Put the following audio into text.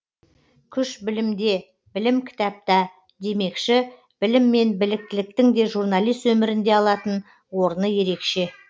күш білімде білім кітапта демекші білім мен біліктіліктің де журналист өмірінде алатын орны ерекше